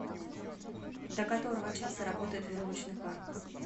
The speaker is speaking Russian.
до которого часа работает веревочный парк